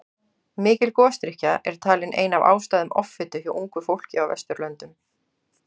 Mikil gosdrykkja er talin ein af ástæðum offitu hjá ungu fólki á Vesturlöndum.